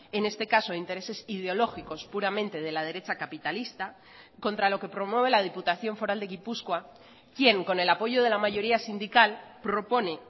en este caso intereses ideológicos puramente de la derecha capitalista contra lo que promueve la diputación foral de gipuzkoa quien con el apoyo de la mayoría sindical propone